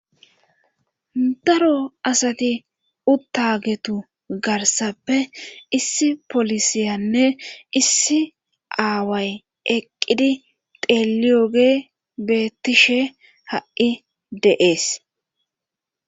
Daro asati uttagetu garsappe issi polisiyanne issi aaway eqqidi teeliyoge beettishe ha'i deees.